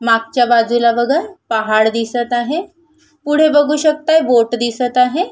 मागच्या बाजूला बघा पहाड दिसत आहे पुढे बघू शकता बोट दिसत आहे.